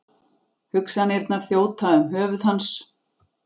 Hugsanirnar þjóta um höfuð hans.